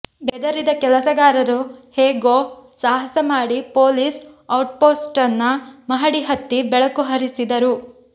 ಬೆದರಿದ ಕೆಲಸಗಾರರು ಹೇಗೋ ಸಾಹಸ ಮಾಡಿ ಪೋಲಿಸ್ ಔಟ್ಪೋಸ್ಟ್ನ ಮಹಡಿ ಹತ್ತಿ ಬೆಳಕು ಹರಿಸಿದರು